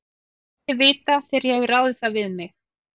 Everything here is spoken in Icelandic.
Ég læt þig vita, þegar ég hef ráðið það við mig